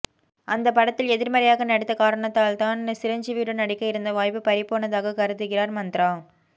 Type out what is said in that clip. அந்தப் படத்தில் எதிர்மறையாக நடித்த காரணத்தால் தான் சிரஞ்சீவியுடன் நடிக்க இருந்த வாய்ப்பு பறிபோனதாகக் கருதுகிறார் மந்த்ரா